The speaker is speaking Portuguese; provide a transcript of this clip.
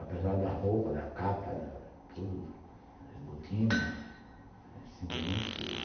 Apesar da roupa, da capa, da butina, acendia muito frio.